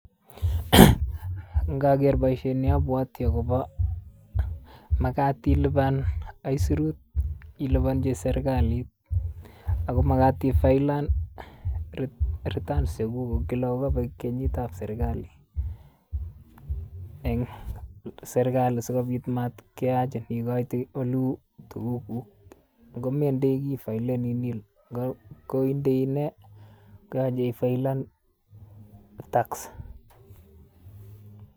Ngoger boishoni abwati akob makat ilipan aisurut ilipanchi serikalit akomakat ifaelen Retuns chekuk kila kokobek kenyitab serikali, en serikali sikobit mat keyachin ikoite oleu tuguk ngomendoiki ifaeleni nill koindoi inei koyache ifaelen Tax